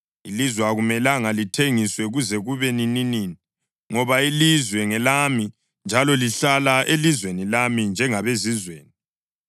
Ilizwe akumelanga lithengiswe kuze kube nininini, ngoba ilizwe ngelami njalo lihlala elizweni lami njengabezizweni.